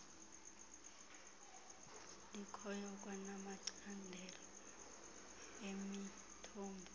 likhoyo kwanamacandelo emithombo